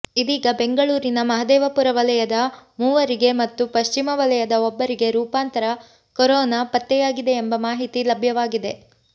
ಇದೀಗ ಬೆಂಗಳೂರಿನ ಮಹದೇವಪುರ ವಲಯದ ಮೂವರಿಗೆ ಮತ್ತು ಪಶ್ಚಿಮ ವಲಯದ ಒಬ್ಬರಿಗೆ ರೂಪಾಂತರ ಕೊರೋನಾ ಪತ್ತೆಯಾಗಿದೆ ಎಂಬ ಮಾಹಿತಿ ಲಭ್ಯವಾಗಿದೆ